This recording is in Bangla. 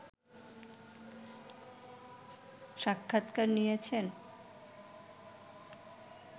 সাক্ষাৎকার নিয়েছেন